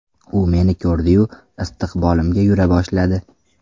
U meni ko‘rdiyu istiqbolimga yura boshladi.